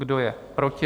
Kdo je proti?